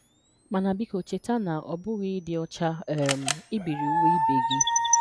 Mana biko cheta na ọ bụghị ịdị ọcha um ibiri uwe ibe gị.